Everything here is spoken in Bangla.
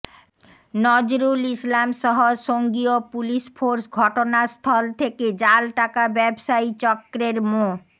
নজরুল ইসলামসহ সঙ্গীয় পুলিশ ফোর্স ঘটনাস্থল থেকে জাল টাকা ব্যবসায়ী চক্রের মো